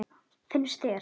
Finnst þér?